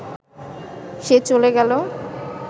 সে চলে গেল